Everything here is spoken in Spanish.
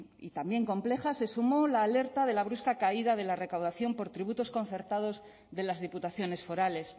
y también compleja se sumó la alerta de la brusca caída de la recaudación por tributos concertados de las diputaciones forales